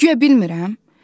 Guya bilmirəm?